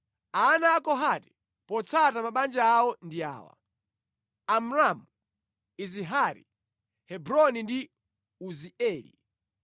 Ana a Kohati potsata mabanja awo ndi awa: Amramu, Izihari, Hebroni ndi Uzieli.